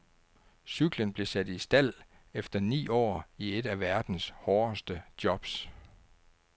Cyklen blev sat i stald efter ni år i et af verdens hårdeste jobs.